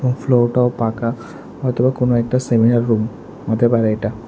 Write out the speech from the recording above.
ফ্লোরটাও পাকা হয়তো বা কোনো একটা সেমিনার রুম হতে পারে এটা।